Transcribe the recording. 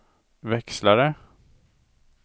växlare